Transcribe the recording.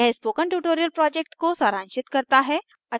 यह spoken tutorial project को सारांशित करता है